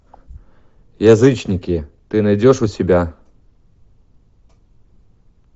язычники ты найдешь у себя